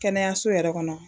Kɛnɛyaso yɛrɛ kɔnɔ